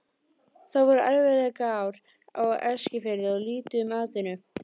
Það voru erfiðleikaár á Eskifirði og lítið um atvinnu.